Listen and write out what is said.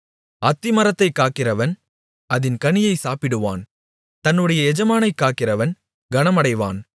அத்திமரத்தைக் காக்கிறவன் அதின் கனியை சாப்பிடுவான் தன்னுடைய எஜமானைக் காக்கிறவன் கனமடைவான்